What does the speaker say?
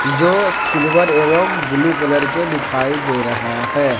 जो सिल्वर एवं blue colour के दिखाई दे रहा है।